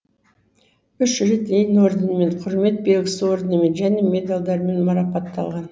үш рет ленин орденімен құрмет белгісі орденімен және медальдермен марапатталған